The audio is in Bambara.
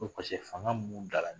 Ko paseke fanga mun b'u da la